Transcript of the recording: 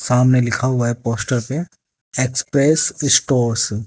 सामने लिखा हुआ है पोस्टर पे एक्सप्रेस स्टोर्स ।